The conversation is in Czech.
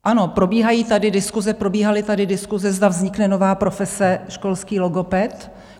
Ano, probíhají tady diskuse, probíhaly tady diskuse, zda vznikne nová profese - školský logoped.